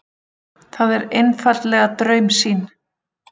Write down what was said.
Það er einfaldlega draumsýn.